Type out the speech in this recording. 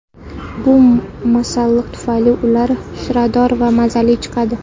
Bu masalliq tufayli ular shirador va mazali chiqadi.